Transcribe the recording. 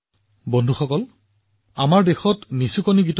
বন্ধুসকল আন এটা উপায় হৈছে ওমলা গীতবোৰ